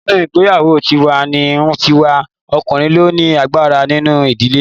Nínú ìgbéyàwó tiwa-n-tiwa ọkùnrin ló ni agbára nínú ìdílé